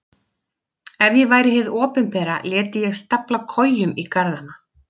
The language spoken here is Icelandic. Ef ég væri hið opinbera léti ég stafla kojum í garðana.